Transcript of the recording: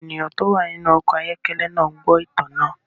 Àwọn ènìyàn tó wà nínú ọkọ̀ ayọ́kẹ́lẹ́ náà ń gbọ́ ìtàn náà.